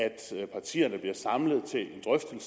partierne bliver samlet